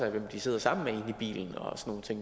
af dem de sidder sammen med inde i bilen